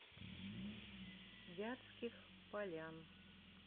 вятских полян